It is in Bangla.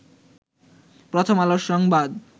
প্রথম আলো সংবাদ